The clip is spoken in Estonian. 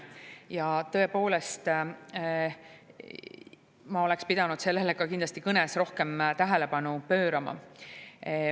Ja tõepoolest, ma oleks pidanud sellele ka kõnes kindlasti rohkem tähelepanu pöörama.